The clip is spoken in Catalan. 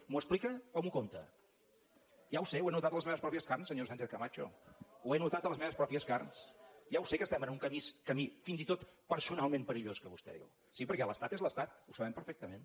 m’ho explica o m’ho conta ja ho sé ho he notat en les meves pròpies carns senyora sánchez camacho ho he notat a les meves pròpies carns ja ho sé que estem en un camí fins i tot personalment perillós que vostè diu sí perquè l’estat és l’estat ho sabem perfectament